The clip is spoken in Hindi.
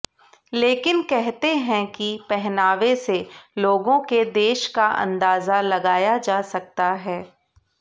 लेकिन कहते हैं कि पहनावे से लोगों के देश का अंदाजा लगाया जा सकता है